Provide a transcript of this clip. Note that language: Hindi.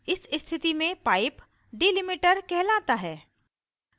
इस स्थिति में pipe delimiter कहलाता है